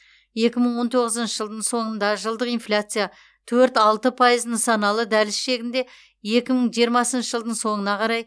екі мың он тоғызыншы жылдың соңында жылдық инфляция төрт алты пайыз нысаналы дәліз шегінде екі мың жиырмасыншы жылдың соңына қарай